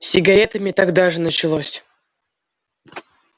с сигаретами тогда же началось